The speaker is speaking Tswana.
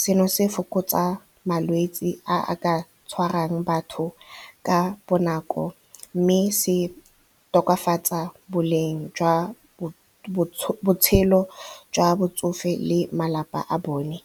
Seno se fokotsa malwetsi a a ka tshwarang batho ka bonako mme se tokafatsa boleng jwa botshelo jwa botsofe le malapa a bone.